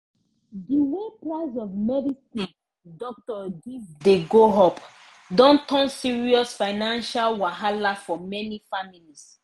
di way price of medicine doctor give dey go up don turn serious financial wahala for many families